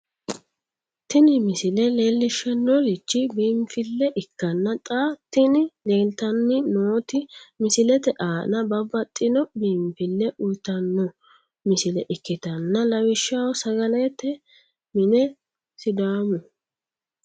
tini misile leellishshannorichi biinfille ikkanna xa tini leeltanni nooti misilete aana babbaxxino biinfille uyiitanno misilla ikkitanna lawishshaho sagalete mine sidaamu.